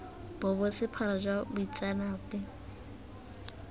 bo bo sephara jwa bomaitseanape